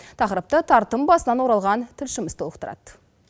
тақырпты тартым басынан оралған тілшіміз толықтырады